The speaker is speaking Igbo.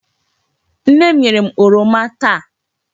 Nne m nyere m oroma taa.